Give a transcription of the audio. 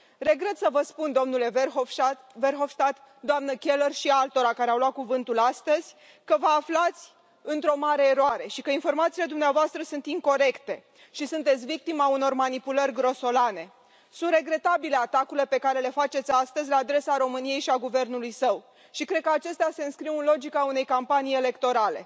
Regret să vă spun, domnule Verhofstadt, doamnă Keller și altora care au luat cuvântul astăzi, că vă aflați într o mare eroare și că informațiile dumneavoastră sunt incorecte și sunteți victima unor manipulări grosolane. Sunt regretabile atacurile pe care le faceți astăzi la adresa României și a guvernului său și cred că acestea se înscriu în logica unei campanii electorale.